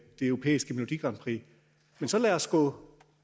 europæiske melodi grand prix men så lad os gå